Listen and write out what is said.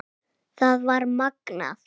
Það var magnað.